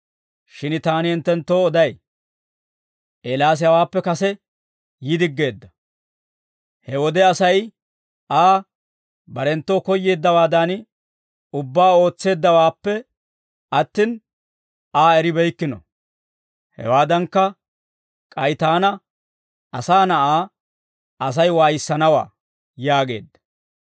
Shin taani hinttenttoo oday; Eelaas hawaappe kase yi diggeedda. He wode Asay Aa, barenttoo koyyeeddawaadan ubbaa ootseeddawaappe attin Aa eribeykkino; hewaadankka, k'ay taana, Asaa Na'aa, Asay waayissanawaa» yaageedda.